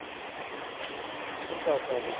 ਉਹ ਕਰ ਸੱਕਦੇ ਹਾਂ